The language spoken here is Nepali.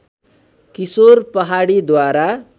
किशोर पहाडीद्वारा